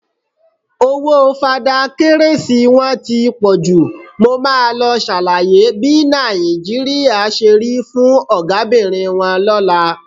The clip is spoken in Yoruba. Owó Fada Kérésì wọn ti pọ jù, mo máa lọ ṣàlàyé bí Nàìjíríà ṣe rí fún Ọ̀gábìnrin wọn lọ́la.